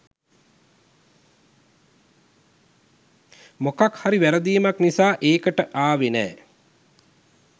මොකක් හරි වැරදීමක් නිසා එකට ආවෙ නෑ.